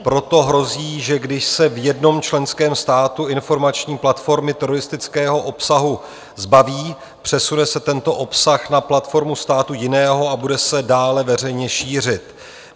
Proto hrozí, že když se v jednom členském státu informační platformy teroristického obsahu zbaví, přesune se tento obsah na platformu státu jiného a bude se dále veřejně šířit.